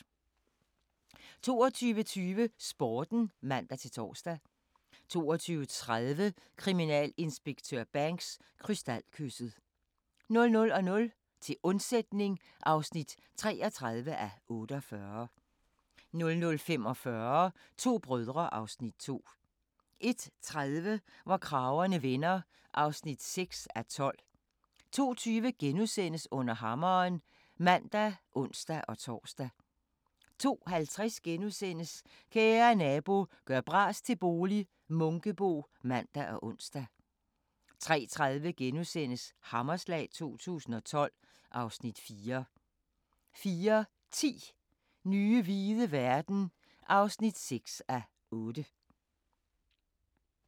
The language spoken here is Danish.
22:20: Sporten (man-tor) 22:30: Kriminalinspektør Banks: Krystalkysset 00:00: Til undsætning (33:48) 00:45: To brødre (Afs. 2) 01:30: Hvor kragerne vender (6:12) 02:20: Under hammeren *(man og ons-tor) 02:50: Kære Nabo – gør bras til bolig - Munkebo *(man og ons) 03:30: Hammerslag 2012 (Afs. 4)* 04:10: Nye hvide verden (6:8)